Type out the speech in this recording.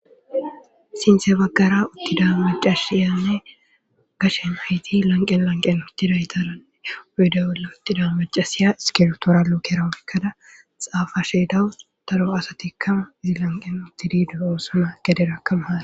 Sinthe baggara uttida macashiyanne gashen hayti lanqen lanqen uttidaytaranne wida olle uttida macasiya iskirtora luukera wubekkada xaafashe dawu taro asatikkama izi lanqen uttidiido oossana gade rakkama